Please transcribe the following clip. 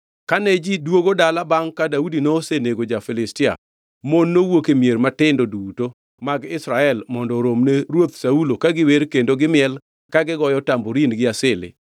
Kane ji duogo dala bangʼ ka Daudi nosenego ja-Filistia, mon nowuok e mier matindo duto mag Israel mondo oromne Ruoth Saulo ka giwer kendo gimiel, ka igoyo tamborin gi asili.